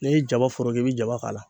N'i ye jaba foroki i bi jaba k'a la